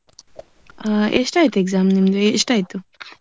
ಅಹ್ ಎಷ್ಟ್ ಆಯ್ತು exam ನಿಮ್ದು. ಎಷ್ಟ್ ಆಯ್ತು?